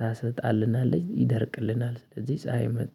ታሰጣልናለች ይደርቅልናል። ስለዚህ ፀሀይ መጣ